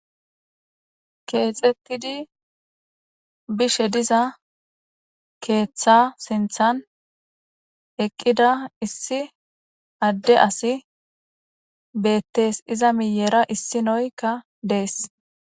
Keexetidi bishe diza keeththa sinththan eqqida issi adde assi beetees; iza miyera issinoyka dees.